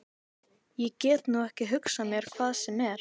Ég get nú ekki hugsað mér hvað sem er.